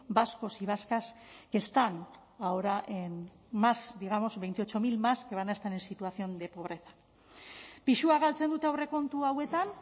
vascos y vascas que están ahora en más digamos veintiocho mil más que van a estar en situación de pobreza pisua galtzen dute aurrekontu hauetan